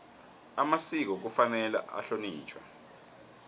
amasiko kufanele ahlonitjhwe